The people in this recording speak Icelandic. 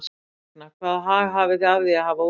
Hvers vegna, hvaða hag hafið þið af því að hafa opið?